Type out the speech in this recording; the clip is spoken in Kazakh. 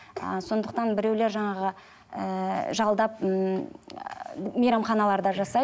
ыыы сондықтан біреулер жаңағы ііі жалдап ммм мейрамханаларда жасайды